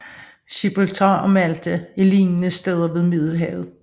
Gibraltar og Malta er lignende steder ved Middelhavet